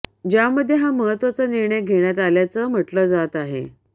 ज्यामध्ये हा महत्त्वाचा निर्णय घेण्यात आल्याचं म्हटलं जात आहे